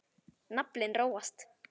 Naflinn róast.